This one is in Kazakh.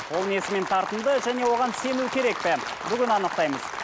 ол несімен тартымды және оған сену керек пе бүгін анықтаймыз